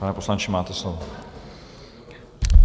Pane poslanče, máte slovo.